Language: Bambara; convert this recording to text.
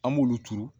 An b'olu turu